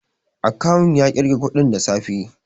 A kawun ya ƙirga kuɗin da safe